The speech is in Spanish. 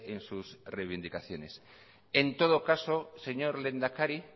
en sus reivindicaciones en todo caso señor lehendakari